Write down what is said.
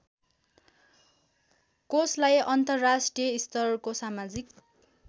कोषलाई अन्तर्राष्ट्रियस्तरको समाजिक